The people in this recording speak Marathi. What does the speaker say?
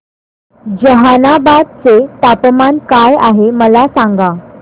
जहानाबाद चे तापमान काय आहे मला सांगा